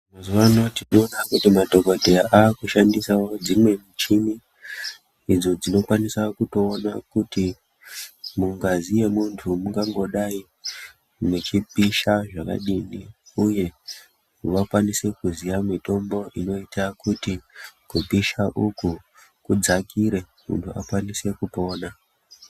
Mazuwa ano tinoona kuti madhokodheya aakushandisawo dzimwe muchini, idzo dzinokwanisa kutoona kuti mungazi yemunthu mungangodai muchipisha zvakadini? Uye vakwanise kuziya mitombo inoita kuti kupisha uku kudzakire, munthu akwanise kupona.